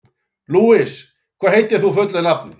Louise, hvað heitir þú fullu nafni?